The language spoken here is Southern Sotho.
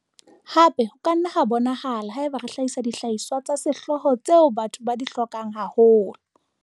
Hape ho ka nna ha bonahala haeba re hlahisa dihlahiswa tsa sehlooho tseo batho ba di hlokang haholo.